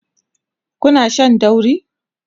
Kuna Shan dauri?